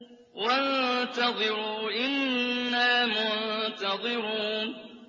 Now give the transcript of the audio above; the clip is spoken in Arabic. وَانتَظِرُوا إِنَّا مُنتَظِرُونَ